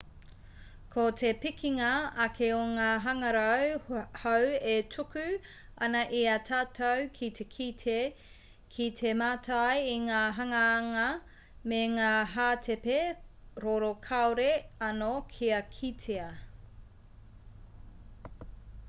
ko te pikinga ake o ngā hangarau hou e tuku ana i a tātou ki te kite ki te mātai i ngā hanganga me ngā hātepe roro kāore anō kia kitea